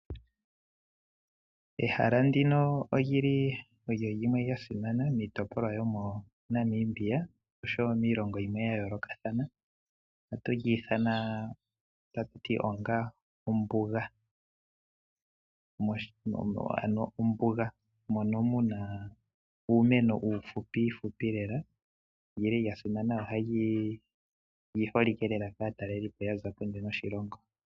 Ehala ndino olyili lyasimana miitopolwa yomo Namibia nosho woo miilongo yimwe yayolokathana no hatu lyiithana ombunga. Mombunga omuna uumeno uufupi fupi lela noyili yasimana oshoka ohayi talelwapo kaataleli yokondje yoshilongo.